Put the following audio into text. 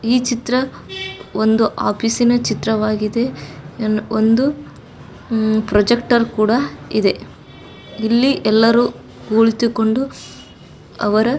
ಈ ಚಿತ್ರ ಒಂದು ಆಫೀಸಿನ ಚಿತ್ರವಾಗಿದೆ. ಇದನ್ನು ಒಂದು ಪ್ರಾಜೆಕ್ಟರ್ ಕೂಡ ಇದೆ ಇಲ್ಲಿ ಎಲ್ಲರೂ ಕುಳಿತುಕೊಂಡು ಅವರ----